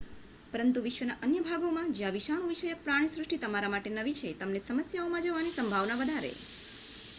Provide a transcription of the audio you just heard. પરંતુ વિશ્વના અન્ય ભાગોમાં જ્યાં જીવાણુ વિષયક પ્રાણીસૃષ્ટિ તમારા માટે નવી છે તમને સમસ્યાઓમાં જવાની સંભાવના વધારે